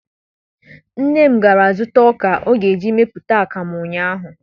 Nne m gara zụta ọka ọ chọrọ iji mepụta akamụ ụnyaahụ